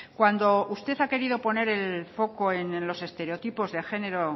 cuando usted ha querido poner el foco en los estereotipos de género